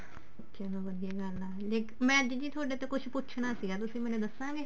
ਚਲੋ ਵਧੀਆ ਗੱਲ ਆ ਮੈਂ ਅੱਜ ਜੀ ਥੋਡੇ ਤੇ ਕੁਛ ਪੁੱਛਣਾ ਸੀਗਾ ਤੁਸੀਂ ਮੈਨੂੰ ਦੱਸੋਗੇ